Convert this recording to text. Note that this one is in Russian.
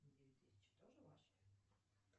девять тысяч тоже ваши